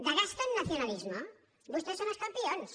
de gasto en nacionalismo vostès són els campions